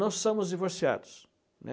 Nós somos divorciados, né?